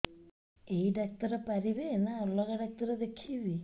ଏଇ ଡ଼ାକ୍ତର ପାରିବେ ନା ଅଲଗା ଡ଼ାକ୍ତର ଦେଖେଇବି